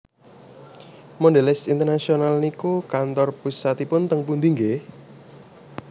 Mondelez International niku kantor pusatipun teng pundi nggeh?